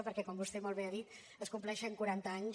perquè com vostè molt bé ha dit es compleixen quaranta anys